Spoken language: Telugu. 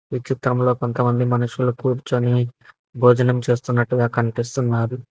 ఈ చిత్రంలో కొంతమంది మనుషులు కూర్చొని భోజనం చేస్తున్నట్టుగా కనిపిస్తున్నారు.